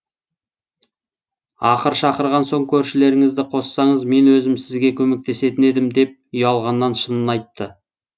ақыр шақырған соң көршілеріңізді қоссаңыз мен өзім сізге көмектесетін едім деп ұялғаннан шынын айтты